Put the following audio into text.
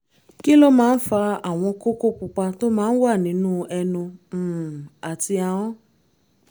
kí ló máa ń fa àwọn kókó pupa tó máa ń wà nínú ẹnu um àti ahọ́n?